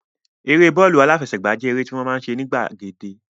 Eré bọ́ọ̀lù aláfẹsẹ̀gbá jẹ́ eré tí a máa ń ṣe ní gbàgede